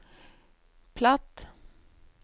platt